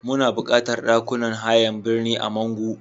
Muna buƙatar ɗakunan hayan birni a Mangu.